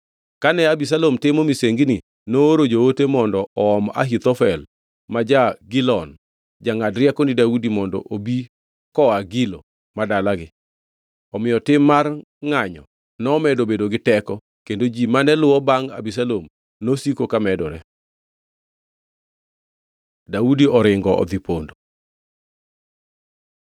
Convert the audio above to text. Kane Abisalom timo misengini, nooro joote mondo oom Ahithofel ma ja-Gilon, jangʼad rieko ni Daudi mondo obi koa Gilo, ma dalagi. Omiyo tim mar ngʼanyo nomedo bedo gi teko, kendo ji mane luwo bangʼ Abisalom nosiko ka medore. Daudi oringo odhi pondo